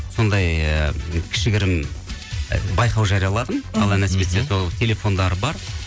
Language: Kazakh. сондай ы кішігірім байқау і жарияладым алла нәсіп етсе сол телефондары бар